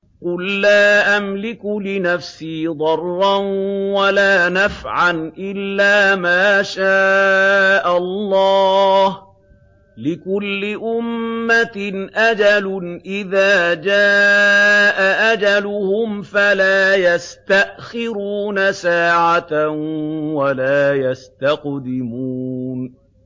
قُل لَّا أَمْلِكُ لِنَفْسِي ضَرًّا وَلَا نَفْعًا إِلَّا مَا شَاءَ اللَّهُ ۗ لِكُلِّ أُمَّةٍ أَجَلٌ ۚ إِذَا جَاءَ أَجَلُهُمْ فَلَا يَسْتَأْخِرُونَ سَاعَةً ۖ وَلَا يَسْتَقْدِمُونَ